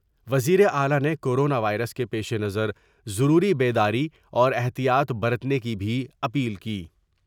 وزیراعلی نے corona virus کے پیش نظر ضروری بیداری اور احتیاط برتنے کی بھی اپیل کی ۔